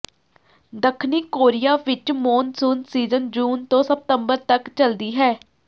ਦੱਖਣੀ ਕੋਰੀਆ ਵਿਚ monsoon season ਜੂਨ ਤੋਂ ਸਤੰਬਰ ਤਕ ਚੱਲਦੀ ਹੈ